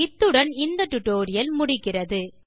இத்துடன் இந்த டியூட்டோரியல் முடிகிறது